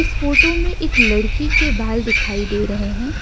Photo में एक लड़की के बाल दिखाई दे रहे हैं।